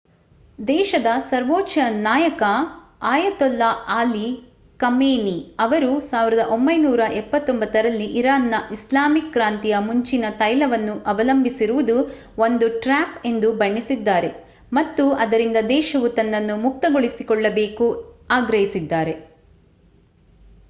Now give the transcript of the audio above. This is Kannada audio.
ದೇಶದ ಸರ್ವೋಚ್ಚ ನಾಯಕ ಅಯತೊಲ್ಲಾ ಅಲಿ ಖಮೇನಿ ಅವರು 1979 ರಲ್ಲಿ ಇರಾನ್‌ನ ಇಸ್ಲಾಮಿಕ್ ಕ್ರಾಂತಿಯ ಮುಂಚಿನ ತೈಲವನ್ನು ಅವಲಂಬಿಸಿರುವುದು ಒಂದು ಟ್ರ್ಯಾಪ್ ಎಂದು ಬಣ್ಣಿಸಿದ್ದಾರೆ ಮತ್ತು ಅದರಿಂದ ದೇಶವು ತನ್ನನ್ನು ಮುಕ್ತಗೊಳಿಸಿಕೊಳ್ಳಬೇಕು ಆಗ್ರಹಿಸಿದ್ದಾರೆ